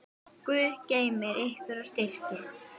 Guð geymi ykkur og styrki.